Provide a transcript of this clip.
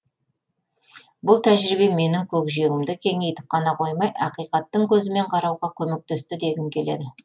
бұл тәжірибе менің көкжиегімді кеңейтіп қана қоймай ақиқаттың көзімен қарауға көмектесті дегім келеді